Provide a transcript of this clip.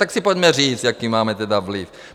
Tak si pojďme říct, jaký máme tedy vliv.